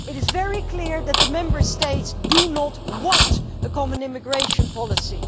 It is very clear that the Member States do not want a common immigration policy.